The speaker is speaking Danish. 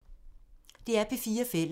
DR P4 Fælles